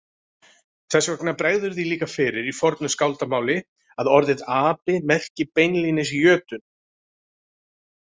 Þess vegna bregður því líka fyrir í fornu skáldamáli að orðið api merki beinlínis jötunn.